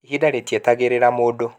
ihinda rĩtietagĩrĩra mundu.